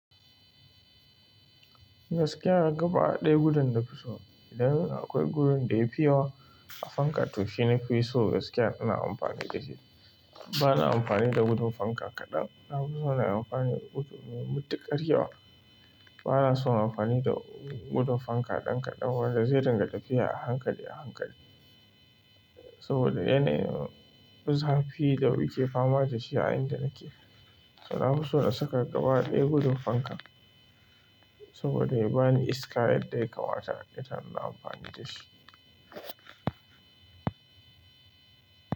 Gaskiya gaɓa ɗaya gudun na fi so. Dan akwai gurun da ya fi yawa a fanka, to shi na fi so gaskiya ina amfani da shi. Bana amfani da gudun fanka kaɗan, na fi so na yi amfani da gudun mai mutikar. Bana son amfani da gudun fanka ɗan kaɗan, wanda zai dinga tafiya a hankali a hankali. Saboda yana yin zafi da wike fama da shi a inda nake. To na fi so na saka gaba ɗaya gudun fankan, saboda ya bani iska yadda ya kamata, ita ina amfani da shi.